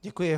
Děkuji.